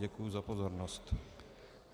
Děkuji za pozornost.